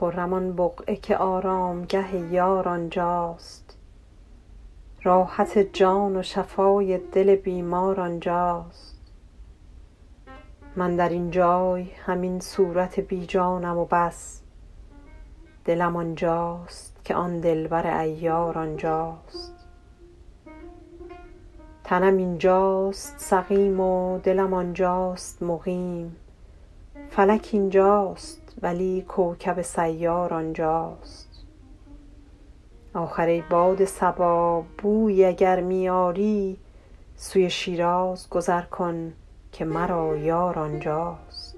خرم آن بقعه که آرامگه یار آنجاست راحت جان و شفای دل بیمار آنجاست من در این جای همین صورت بی جانم و بس دلم آنجاست که آن دلبر عیار آنجاست تنم اینجاست سقیم و دلم آنجاست مقیم فلک اینجاست ولی کوکب سیار آنجاست آخر ای باد صبا بویی اگر می آری سوی شیراز گذر کن که مرا یار آنجاست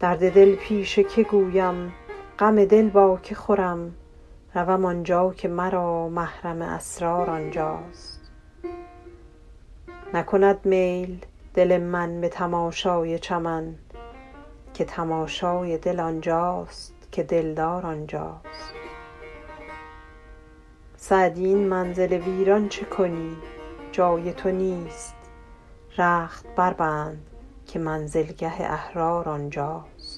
درد دل پیش که گویم غم دل با که خورم روم آنجا که مرا محرم اسرار آنجاست نکند میل دل من به تماشای چمن که تماشای دل آنجاست که دلدار آنجاست سعدی این منزل ویران چه کنی جای تو نیست رخت بربند که منزلگه احرار آنجاست